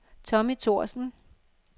Tommy Thorsen